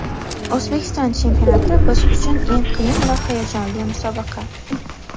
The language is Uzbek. O‘zbekiston chempionati biz uchun eng qiyin va hayajonli musobaqa.